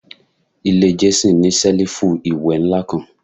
Ile Jason ni selifu iwẹ nla kan